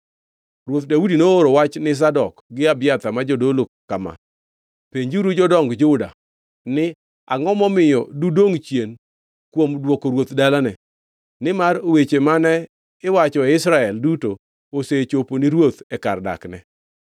Ruoth Daudi nooro wachni ne Zadok gi Abiathar, ma jodolo kama: “Penjuru jodong Juda ni, ‘Angʼo momiyo dudongʼ chien kuom dwoko ruoth dalane, nimar weche mane iwacho e Israel duto osechopo ni ruoth e kar dakne?